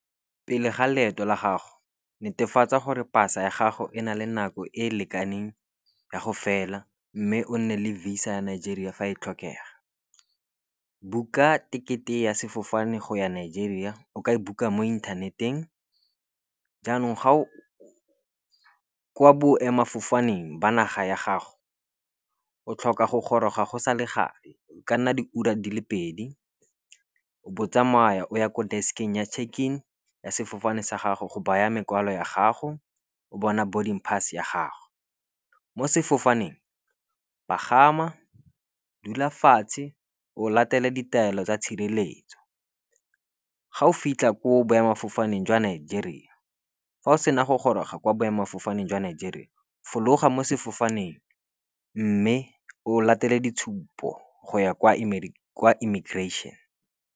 Pele ga leeto la gago netefatsa gore pasa ya gago e na le nako e e lekaneng ya go fela mme o nne le VISA ya Nigeria fa e tlhokega. Book-a tekete ya sefofane go ya Nigeria o ka e book-a mo inthaneteng. Jaanong kwa boemafofaneng ba naga ya gago, o tlhoka go goroga go sa le gale. O ka nna diura di le pedi, o bo o tsamaya o ya kwa desk-eng ya check-in ya sefofane sa gago go baya mokwalo ya gago, go bona boarding pass ya gago. Mo sefofaneng pagama, dula fatshe, o latela ditaelo tsa tshireletso. Fa o sena go goroga kwa boemafofaneng jwa Nigeria, fologa mo sefofaneng mme o latele ditshupo go ya kwa immigration.